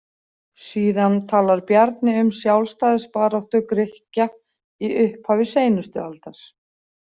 Síðan talar Bjarni um sjálfstæðisbaráttu Grikkja í upphafi seinustu aldar.